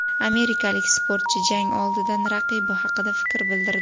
Amerikalik sportchi jang oldidan raqibi haqida fikr bildirdi .